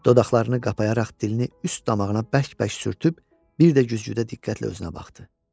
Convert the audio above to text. Dodaqlarını qapayaraq dilini üst damağına bərk-bərk sürtüb bir də güzgüdə diqqətlə özünə baxdı.